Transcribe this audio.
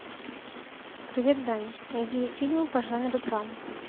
привет даня найди фильмы по жанру драма